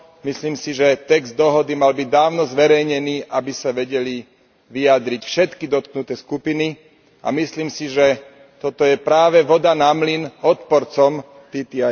Myslím si, že text dohody mal byť dávno zverejnený, aby sa vedeli vyjadriť všetky dotknuté skupiny, a myslím si, že toto je práve voda na mlyn odporcom TTIP.